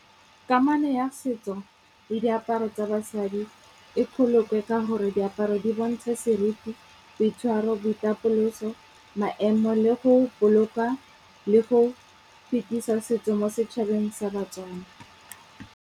Kamano ya setso le diaparo tsa basadi e bolokwe ka gore diaparo di bontsha seriti, boitshwaro, boitapoloso, maemo le go boloka le go fetisa setso mo setšhabeng sa batswana.